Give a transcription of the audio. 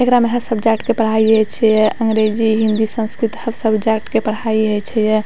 एकरा में हर सब्जेक्ट के पढ़ाई है छै या अंग्रेजी हिंदी संस्कृत हर सब्जेक्ट के पढ़ाई है छै या।